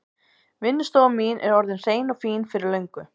Vinnustofan mín er orðin hrein og fín fyrir löngu.